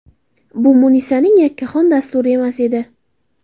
Bu Munisaning yakkaxon dasturi emas edi.